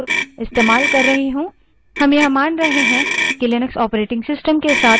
हम यह मानते हैं कि लिनक्स operating system के साथ शुरुआत कैसे करना है ये आपको पता है